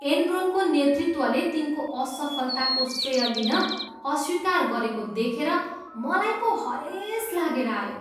एनरोनको नेतृत्वले तिनको असफलताको श्रेय लिन अस्वीकार गरेको देखेर मलाई पो हरेस लागेर आयो।